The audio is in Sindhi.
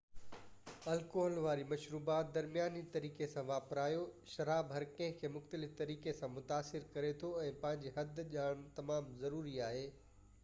الڪوحل واريون مشروبات درمياني طريقي سان واپرايو شراب هر ڪنهن کي مختلف طريقي سان متاثر ڪري ٿو ۽ پنهنجي حد ڄاڻڻ تمام ضروري آهي